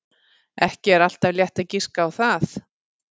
Ekki er alltaf létt að giska á það.